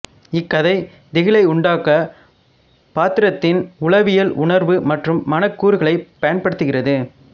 இக்கதை திகிலை உண்டாக்க பாத்திரத்தின் உளவியல் உணர்வு மற்றும் மன கூறுகளை பயன்படுத்துகிறது